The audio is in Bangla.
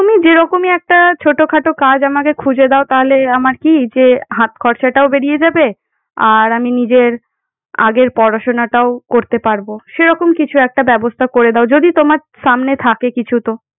তুমি যেরকমই একটা ছোটখাটো কাজ আমাকে খুঁজে দাও, তাহলে আমার কি যে হাতখরচাটাও বেরিয়ে যাবে? আর আমি নিজের আগের পড়াশুনাটাও করতে পারব। সেরকম কিছু একটা ব্যবস্থা করে দাও। যদি তোমার সামনে থাকে কিছু তো।